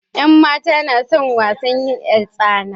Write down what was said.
yan matan na son yin wasan 'yartsana.